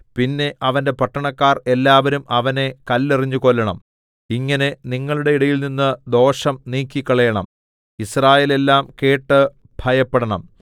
പിന്നെ അവന്റെ പട്ടണക്കാർ എല്ലാവരും അവനെ കല്ലെറിഞ്ഞു കൊല്ലണം ഇങ്ങനെ നിങ്ങളുടെ ഇടയിൽനിന്ന് ദോഷം നീക്കിക്കളയണം യിസ്രായേലെല്ലാം കേട്ട് ഭയപ്പെടണം